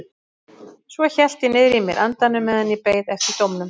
Svo hélt ég niðri í mér andanum meðan ég beið eftir dómnum.